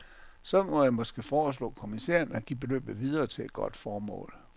Så må jeg måske foreslå kommissæren at give beløbet videre til et godt formål.